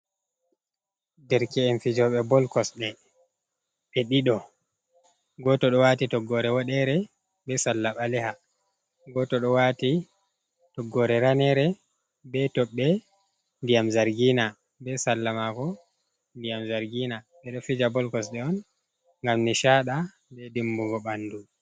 Derke’en fijoɓe bol kosɗe, ɓe ɗiɗo, goto ɗo waati toggore woɗeere, be sarla ɓaleha, goto ɗo waati toggore ranere be toɓɓe ndiyam zargiina, be sarla mako ndiyam zargiina, ɓe ɗo fija bol kosɗe on, ngam nishaada, be dimbugo ɓandu.